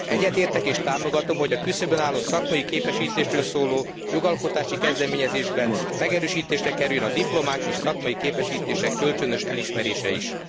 Egyetértek és támogatom, hogy a küszöbön álló szakmai képesítésről szóló jogalkotási kezdeményezésben megerősítésre kerüljön a diplomák és szakmai képesítések kölcsönös elismerése is.